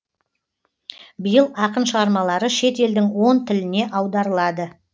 биыл ақын шығармалары шет елдің он тіліне аударылады